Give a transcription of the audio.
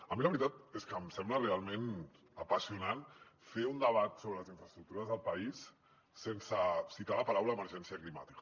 a mi la veritat és que em sembla realment apassionant fer un debat sobre les infraestructures del país sense citar les paraules emergència climàtica